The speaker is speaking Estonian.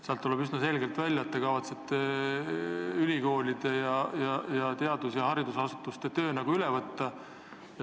Sealt tuleb üsna selgelt välja, et te kavatsete ülikoolide ning teadus- ja haridusasutuste töö üle võtta.